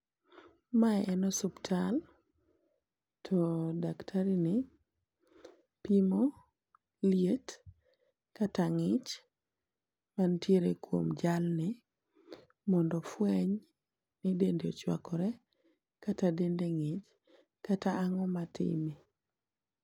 Mae en osiptal to daktari ni pimo lietkata ng'ich mantiere kuom jalni mondo ofueny ni dende ochuakore kata dende ng'ich kata ang'o matime.